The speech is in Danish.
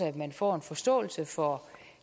at man får en forståelse for